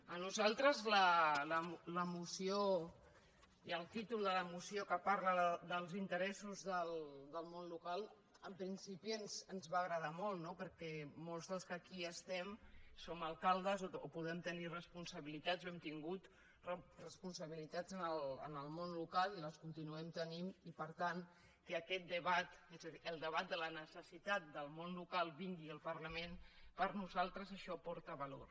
a nosaltres la moció i el títol de la moció que parla dels interessos del món local en principi ens van agradar molt no perquè molts dels que aquí estem som alcaldes o podem tenir responsabilitats o hem tingut responsabilitats en el món local i les continuem tenint i per tant que aquest debat el debat de la necessitat del món local vingui al parlament per nosaltres això aporta valor